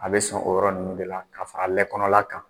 A bɛ sɔn o yɔrɔ ninnu de la ka fara lɛ konɔna kan.